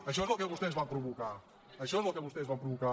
això és el que vostès van provocar això és el que vostès van provocar